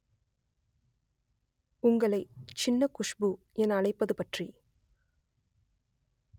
உங்களை சின்ன குஷ்பு என அழைப்பது பற்றி